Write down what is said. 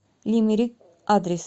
лимерик адрес